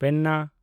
ᱯᱮᱱᱱᱟ